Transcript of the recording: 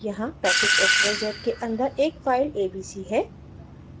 यहाँ package xyz के अन्दर एक file abc